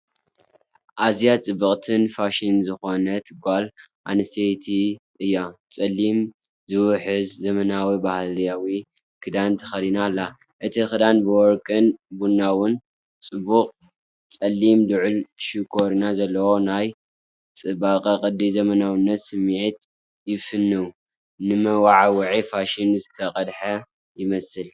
ኣዝያ ጽብቕትን ፋሽን ዝኾነትን ጓል ኣንስተይቲ እያ። ጸሊም፡ ዝውሕዝ፡ ዘመናዊ ባህላዊ ክዳን ተኸዲና ኣላ። እቲ ክዳን ብወርቅን ቡናውን ጽቡቕ ፣ ጸሊም ልዑል ሸኾና ዘለዎ ፣ናይ ጽባቐ፣ ቅዲ፣ ዘመናዊነት ስምዒት ይፍንው፤ ንመወዓውዒ ፋሽን ዝተቐድሐ ይመስል።